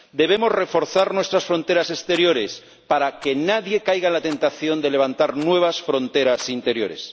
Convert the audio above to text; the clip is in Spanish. Debemos reforzar nuestras fronteras exteriores para que nadie caiga en la tentación de levantar nuevas fronteras interiores.